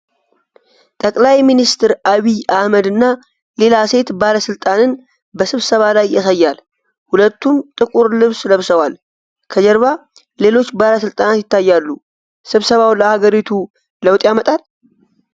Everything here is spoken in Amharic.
ጠቅላይ ሚኒስትር ዐቢይ አሕመድን እና ሌላ ሴት ባለሥልጣንን በስብሰባ ላይ ያሳያል። ሁለቱም ጥቁር ልብስ ለብሰዋል። ከጀርባ ሌሎች ባለሥልጣናት ይታያሉ። ስብሰባው ለአገሪቱ ለውጥ ያመጣል?